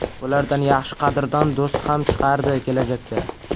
Bulardan yaxshi qadrdon do‘st ham chiqardi kelajakda.